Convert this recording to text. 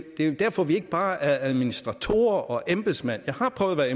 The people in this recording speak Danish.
er jo derfor vi ikke bare er administratorer og embedsmænd jeg har prøvet at